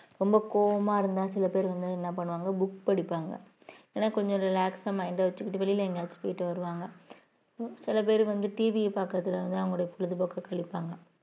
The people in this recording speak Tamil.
ரொம்ப கோவமா இருந்த சில பேர் வந்து என்ன பண்ணுவாங்க book படிப்பாங்க ஏன்னா கொஞ்சம் relax ஆ mind அ வச்சுக்கிட்டு வெளியில எங்கேயாவது போயிட்டு வருவாங்க சில பேர் வந்து TV யை பாக்குறதுல இருந்து அவங்களுடைய பொழுதுபோக்கு கழிப்பாங்க